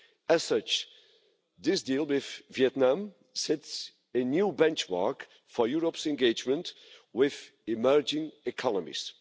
As such, this deal with Vietnam sets a new benchmark for Europe's engagement with emerging economies.